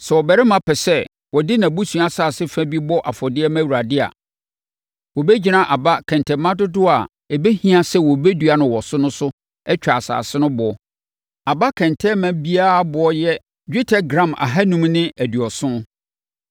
“ ‘Sɛ ɔbarima bi pɛ sɛ ɔde nʼabusua asase fa bi bɔ afɔdeɛ ma Awurade a, wɔbɛgyina aba kɛntɛnma dodoɔ a ɛbɛhia sɛ wɔbɛdua wɔ so no so atwa asase no boɔ; aba kɛntɛnma biara boɔ yɛ dwetɛ gram ahanum ne aduɔson (570).